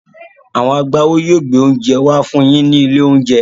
Àwọn agbáwo yóò gbé oúnjẹ wá fún yín ní ilé-oúnjẹ.